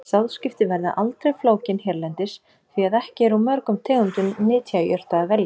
Sáðskipti verða aldrei flókin hérlendis, því að ekki er úr mörgum tegundum nytjajurta að velja.